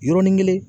Yɔrɔnin kelen